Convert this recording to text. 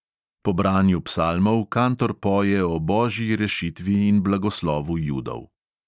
Po branju psalmov kantor poje o božji rešitvi in blagoslovu judov.